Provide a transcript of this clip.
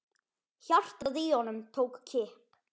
Hjartað í honum tók kipp.